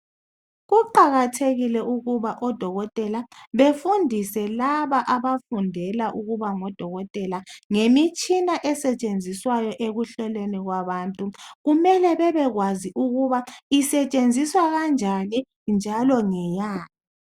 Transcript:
Kuqakathekile ukuba odokotela befundise laba abafundela ukuba ngodokotela ngemitshina esetshenziswayo ekuhloleni kwabantu. Kumele bebekwazi ukuba isetshenziswa kanjani njalo ngeyani.